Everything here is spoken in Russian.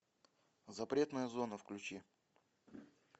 запретная зона включи